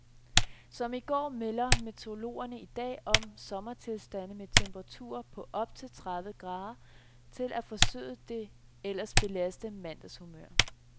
Som i går melder meteorologerne i dag om sommertilstande med temperaturer på op til tredve grader til at forsøde det ellers belastede mandagshumør.